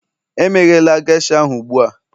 emeghela geisha ahụ ugbu a